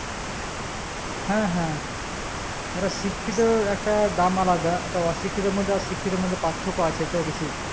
হ্যাঁ হ্যাঁ একটা শিক্ষিত একটা দাম আলাদা একটা অশিক্ষিতর মধ্যে আর শিক্ষিতর মধ্যে পার্থক্য আছে তো কিছু